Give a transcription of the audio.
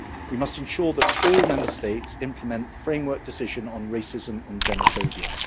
We must ensure that all Member States implement the Framework Decision on Racism and Xenophobia.